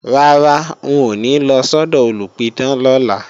Rárá, n ò ní lọ sọ́dọ̀ olùpidán lọ́la